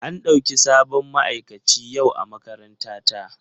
An ɗauki sabon ma'aikaci yau a makarantata.